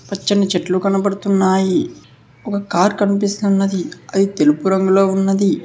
పచ్చని చెట్లు కనబడుతున్నాయి ఒక కార్ కనిపిస్తున్నది అది తెలుపు రంగులో ఉన్నది.